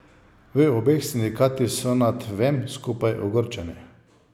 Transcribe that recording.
V obeh sindikatih so nad vem skupaj ogorčeni.